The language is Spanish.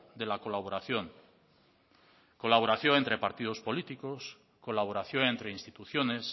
de la colaboración colaboración entre partidos políticos colaboración entre instituciones